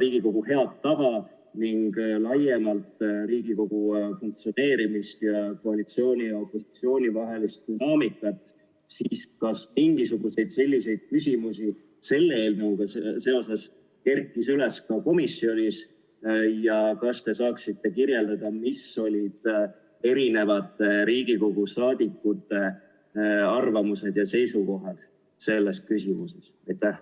Riigikogu head tava ning laiemalt Riigikogu funktsioneerimist ja koalitsiooni ja opositsiooni vahelist dünaamikat, siis kas mingisuguseid selliseid küsimusi kerkis komisjonis üles ka selle eelnõuga seoses ja kas te saaksite kirjeldada, mis olid Riigikogu saadikute arvamused ja seisukohad selles küsimuses?